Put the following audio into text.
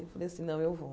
Eu falei assim, não, eu vou.